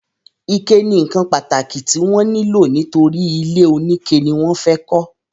ike ni ǹkan pàtàkì tí wọ́n nílò nítorí ilé oníke ni wọ́n fẹ́ kọ́.